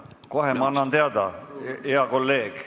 Kohe ma annan teada, hea kolleeg.